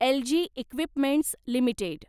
algae equipments limited